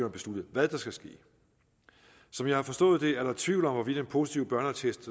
at beslutte hvad der skal ske som jeg har forstået det er der tvivl om hvorvidt en positiv børneattest